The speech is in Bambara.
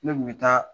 Ne kun bɛ taa